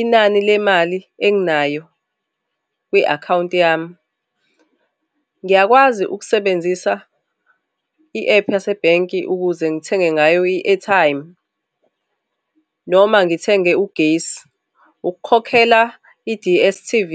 inani le mali enginayo kwi-akhawunti yami, ngiyakwazi ukusebenzisa i-ephu yasebhenki ukuze ngithenge ngayo i-airtime noma ngithenge ugesi, ukukhokhela i-D_S_T_V.